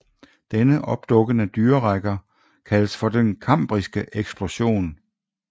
Denne opdukken af dyrerækker kaldes for den kambriske eksplosion